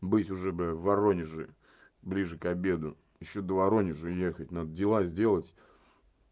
быть уже бы в воронеже ближе к обеду ещё до воронежа ехать надо дела сделать